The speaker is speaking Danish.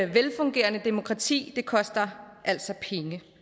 velfungerende demokrati koster altså penge det